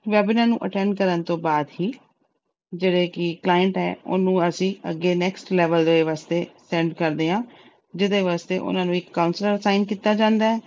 webinar ਨੂੰ attend ਕਰਨ ਤੋਂ ਬਾਅਦ ਹੀ ਜਿਹੜੇ ਕਿ client ਆ, ਉਹਨੂੰ ਅਸੀਂ ਅੱਗੇ next level ਦੇ ਵਾਸਤੇ send ਕਰਦੇ ਆ, ਜਿਹਦੇ ਵਾਸਤੇ ਉਹਨਾਂ ਨੂੰ ਇੱਕ counselor assign ਕੀਤਾ ਜਾਂਦਾ।